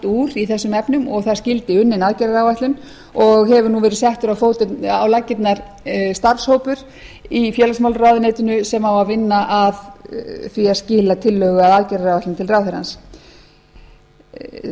úr í þessum efnum og það skyldi unnin aðgerða áætlun og hefur nú verið settur á laggirnar starfshópur í félagsmálaráðuneytinu sem á að vinna að því að skila tillögu að aðgerða áætlun til